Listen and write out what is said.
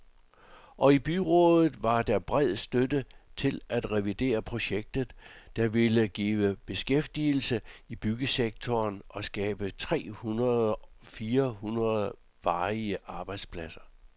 Og i byrådet var der bred støtte til det reviderede projekt, der ville give beskæftigelse i byggesektoren og skabe tre hundrede fire hundrede varige arbejdspladser.